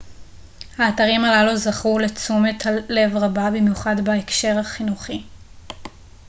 האתרים הללו זכו לתשומת לב רבה במיוחד בהקשר החינוכי